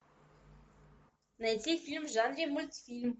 найти фильм в жанре мультфильм